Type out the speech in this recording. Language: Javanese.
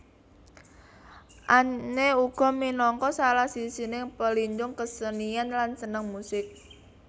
Anne uga minangka salah sijining pelindung kesenian lan seneng musik